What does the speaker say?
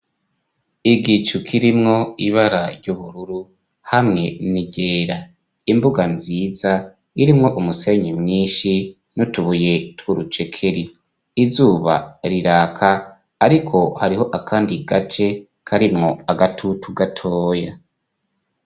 Igicu kirimwo ibara ry'ubururu hamwe n'iryera. Imbuga nziza irimwo umusenyi mwinshi n'utubuye tw'urucekeri, izuba riraka ariko hariho akandi gace karimwo agatutu gatoya.